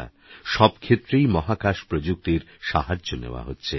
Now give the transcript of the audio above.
সবক্ষেত্রেইমহাকাশপ্রযুক্তিরসাহায্যনেওয়াহচ্ছে